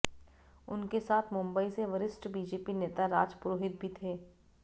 उनके साथ मुंबई से वरिष्ठ बीजेपी नेता राज पुरोहित भी थे